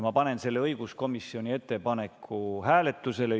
Ma panen õiguskomisjoni ettepaneku hääletusele.